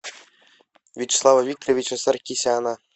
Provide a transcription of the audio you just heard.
вячеслава викторовича саркисяна